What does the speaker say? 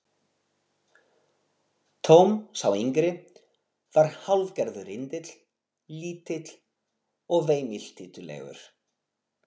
Tom, sá yngri, var hálfgerður rindill, lítill og veimiltítulegur.